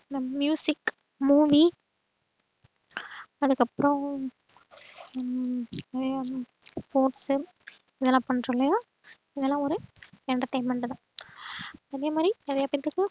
இந்த movie அதுக்கப்றோம். உம் நறைய sports இதுலா பண்றோம்லையா இதுலா ஒரு entertainment தான். அதேமாறி நறைய பேத்துக்கு